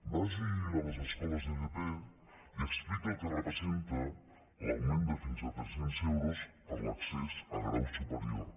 vagi a les escoles d’fp i expliqui el que representa l’augment de fins a tres cents euros per l’accés al grau superior